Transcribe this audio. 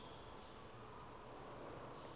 okasandile